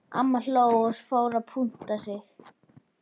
Amma hló og fór að punta sig.